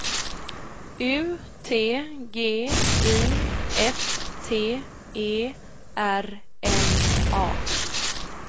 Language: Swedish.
U T G I F T E R N A